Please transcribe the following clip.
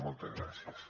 moltes gràcies